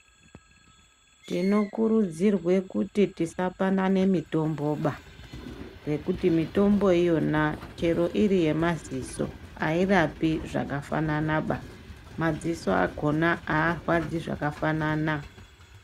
Tinokurudzirwa kuti tisapanane mitombo ba nekuti mitombo iyona chero iri yemaziso airapi zvakafanana ba maziso akona arwadzi zvakafanana.